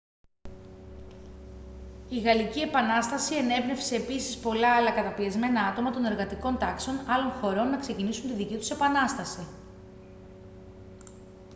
η γαλλική επανάσταση ενέπνευσε επίσης πολλά άλλα καταπιεσμένα άτομα των εργατικών τάξεων άλλων χωρών να ξεκινήσουν τη δική τους επανάσταση